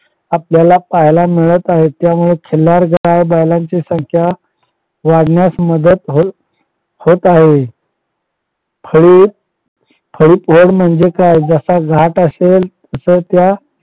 आपल्याला पाहायला मिळत आहेत त्यामुळे खिल्लार गाय बैलांच्या संख्या वाढण्यास मदत होत होत आहे. खडीक वळ म्हणजे काय जस घाट असेल तस त्या